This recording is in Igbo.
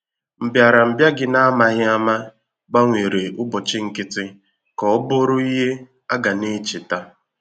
Mbịarambịa gị n’amaghị àmà gbanwere ụbọchị nkịtị ka ọ bụrụ ìhè a ga na-echeta.